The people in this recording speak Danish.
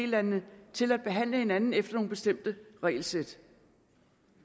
landene til at behandle hinanden efter nogle bestemte regelsæt